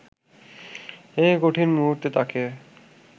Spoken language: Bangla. এই কঠিন মুহূর্তে তাকে